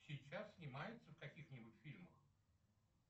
сейчас снимается в каких нибудь фильмах